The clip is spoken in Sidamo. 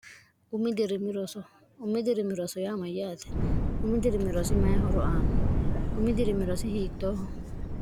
umi dirimi roso umi dirimi roso yaa mayyaate umi dirimi rosi mayi horo aanno umi dirimi rosi hiittooho